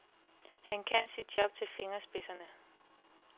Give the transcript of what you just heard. Han kan sit job til fingerspidserne.